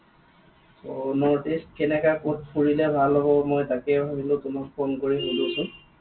ত north east কেনেকুৱা কত ফুৰিলে ভাল হব মই তাকে ভাবিলো তোমাক phone কৰি সোধো চোন।